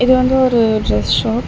இது வந்து ஒரு டிரஸ் ஷாப் .